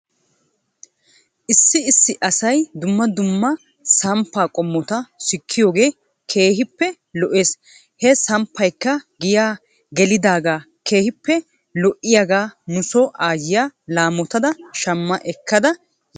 Issi issi asay dumma dumma samppaa qommota sikkiyoogee keehippe lo'es. He sappaykka giyaa gelidaagee keehippe lo'iyaagaa nuso aayiya amottada shama ekkada yaasu.